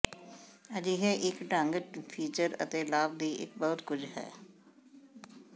ਅਜਿਹੇ ਇੱਕ ਢੰਗ ਫੀਚਰ ਅਤੇ ਲਾਭ ਦੀ ਇੱਕ ਬਹੁਤ ਕੁਝ ਹੈ